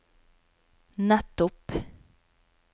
nettopp